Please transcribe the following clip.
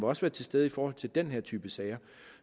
også være til stede i forhold til den her type sager